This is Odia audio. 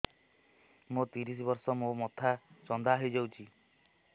ମୋ ତିରିଶ ବର୍ଷ ମୋ ମୋଥା ଚାନ୍ଦା ହଇଯାଇଛି